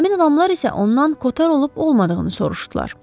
Həmin adamlar isə ondan Koter olub-olmadığını soruşdular.